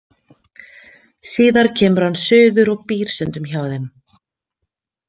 Síðar kemur hann suður og býr stundum hjá þeim.